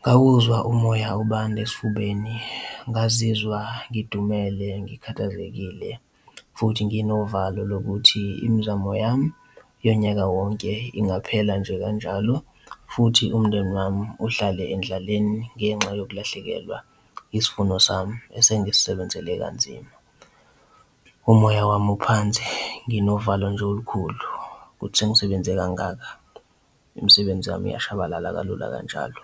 ngawuzwa umoya ubanda esifubeni, ngazizwa ngidumele ngikhathazekile futhi nginovalo lokuthi imizamo yami yonyaka wonke ingaphela nje kanjalo futhi umndeni wami uhlale endlaleni ngenxa yokulahlekelwa isivuno sami esengisisebenzele kanzima. Umoya wami uphansi, nginovalo nje olukhulu kuthi sengisebenze kangaka, imisebenzi yami iyashabalala kalula kanjalo.